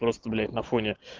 просто блять на фоне